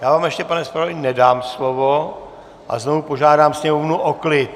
Já vám ještě, pane zpravodaji, nedám slovo a znovu požádám sněmovnu o klid.